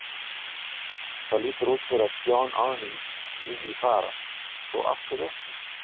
Það lítur út fyrir að John Arne vilji fara, svo af hverju ekki?